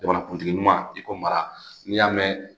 Bamanakuntigi ɲuman i ko mara n'i y'a mɛn